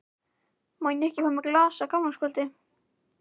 Má ég ekki fá mér glas á gamlárskvöldi?